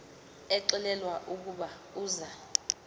exelelwa ukuba uza